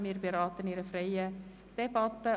Wir beraten in einer freien Debatte.